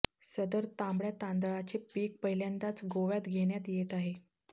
सदर तांबडय़ा तांदळाचे पीक पहिल्यांदाच गोव्यात घेण्यात येत आहे